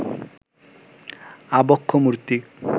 আবক্ষ মূর্তি